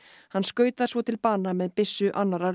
hann skaut þær svo til bana með byssu annarrar